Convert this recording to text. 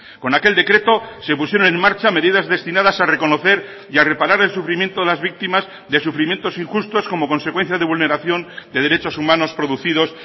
con aquel decreto se pusieron en marcha medidas destinadas a reconocer y a reparar el sufrimiento de las víctimas de sufrimientos injustos como consecuencia de vulneración de derechos humanos producidos